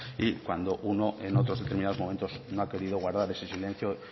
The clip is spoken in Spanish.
cuando uno en otros determinados momentos no ha querido guardar ese silencio y